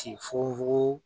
Ki fugu fugu